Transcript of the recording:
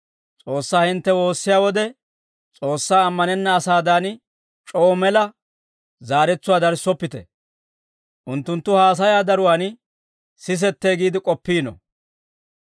«S'oossaa hintte woossiyaa wode, S'oossaa ammanenna asaadan, c'oo mela zaaretsuwaa darissoppite; unttunttu haasayaa daruwaan sisettee giide k'oppiino.